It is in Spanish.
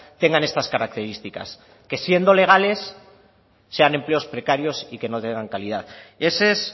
tengan estas características que siendo legales sean empleos precarios y que no tengan calidad ese es